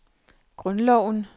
grundloven